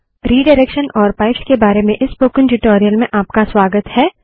redirection और pipes के बारे में इस स्पोकन ट्यूटोरियल में आपका स्वागत है